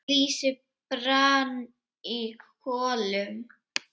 Lýsi brann í kolum.